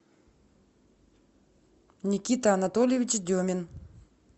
никита анатольевич демин